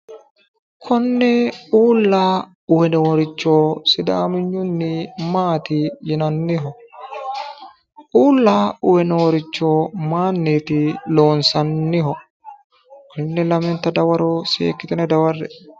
Konne uula uwinoricho sidaamiynunni maati yinanniho? uula uwe nooricho mayinni loonissaniho? Tenne lamenita dawaro seekkitine daware'e